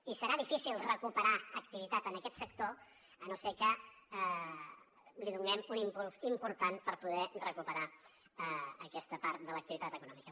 i serà difícil recuperar activitat en aquest sector si no és que li donem un impuls important per poder recuperar aquesta part de l’activitat econòmica